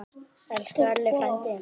Elsku Elli frændi.